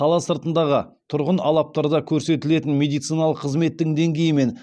қала сыртындағы тұрғын алаптарда көрсетілетін медициналық қызметтің деңгейі мен